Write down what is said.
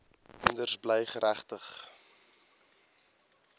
kinders bly geregtig